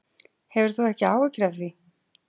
Hefur þú ekki áhyggjur af því?